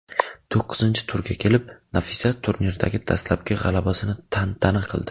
To‘qqizinchi turga kelib Nafisa turnirdagi dastlabki g‘alabasini tantana qildi.